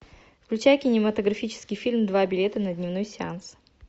включай кинематографический фильм два билета на дневной сеанс